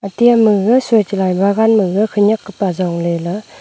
ate ama gaga soi chelai bagan maga khenyek kapa jong ley la--